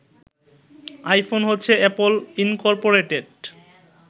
iPhone হচ্ছে Apple Incorporated